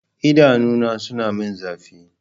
Idanuna suna min zafi.